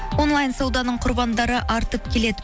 онлайн сауданың құрбандары артып келеді